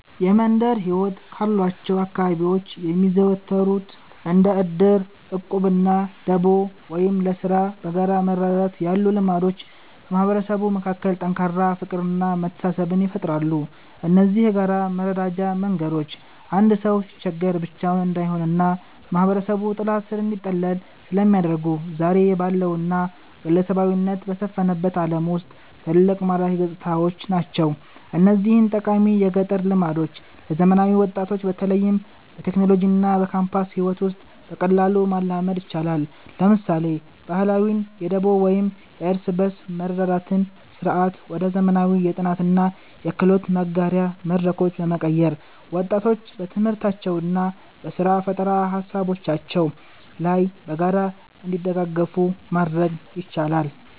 የመንደር ሕይወት ካሏቸው አካባቢዎች የሚዘወተሩት እንደ ዕድር፣ ዕቁብና ደቦ (ለሥራ በጋራ መረዳዳት) ያሉ ልማዶች በማህበረሰቡ መካከል ጠንካራ ፍቅርና መተሳሰብን ይፈጥራሉ። እነዚህ የጋራ መረዳጃ መንገዶች አንድ ሰው ሲቸገር ብቻውን እንዳይሆንና በማህበረሰቡ ጥላ ሥር እንዲጠለል ስለሚያደርጉ፣ ዛሬ ባለውና ግለሰባዊነት በሰፈነበት ዓለም ውስጥ ትልቅ ማራኪ ገጽታዎች ናቸው። እነዚህን ጠቃሚ የገጠር ልማዶች ለዘመናዊ ወጣቶች በተለይም በቴክኖሎጂና በካምፓስ ሕይወት ውስጥ በቀላሉ ማላመድ ይቻላል። ለምሳሌ፣ ባህላዊውን የደቦ ወይም የእርስ በርስ መረዳዳት ሥርዓት ወደ ዘመናዊ የጥናትና የክህሎት መጋሪያ መድረኮች በመቀየር፣ ወጣቶች በትምህርታቸውና በሥራ ፈጠራ ሃሳቦቻቸው ላይ በጋራ እንዲደጋገፉ ማድረግ ይቻላል።